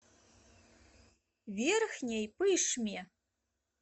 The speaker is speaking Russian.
верхней пышме